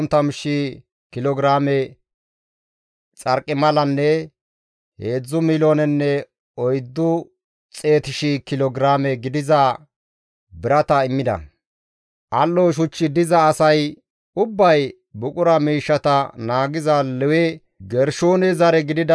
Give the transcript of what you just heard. Al7o shuchchi diza asay ubbay buqura miishshata naagiza Lewe Gershoone zare gidida Yihi7eele baggara GODAA minjja keeth ehi immida.